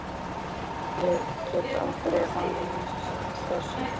Veit að ég get aldrei vanist þessu.